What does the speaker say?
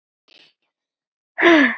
Kaupi þú þér notuð föt?